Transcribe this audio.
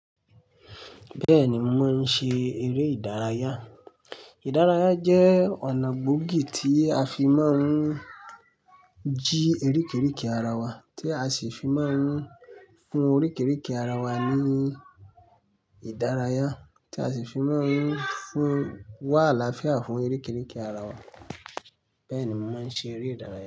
Bẹ́ẹ̀ni, mo máa ń ṣe eré ìdárayá. Ìdárayá jẹ́ ọ̀nà gbòógì tí a fi máa ń jí orí́kìríìkì ara wa, tí a sì fi máa ń fún orí́kìríìkì ara wa ní ìdárayá, tí a sì fi máa ń fún wà alááfíà fún orí́kìríìkì ara wa. Bẹ́ẹ̀ni mo máa ń ṣe eré ìdárayá.